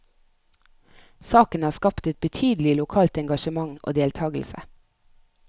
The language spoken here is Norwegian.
Saken har skapt et betydelig lokalt engasjement og deltagelse.